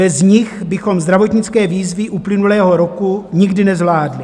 Bez nich bychom zdravotnické výzvy uplynulého roku nikdy nezvládli.